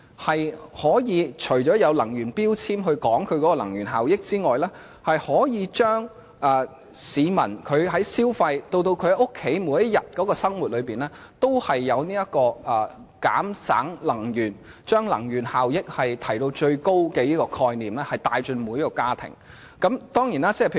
政府除了要求以能源標籤說明家電的能源效益外，亦應鼓勵市民在消費以至家居日常生活的層面節省能源，從而將提高能源效益的觀念帶進每個家庭。